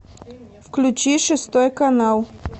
включи шестой канал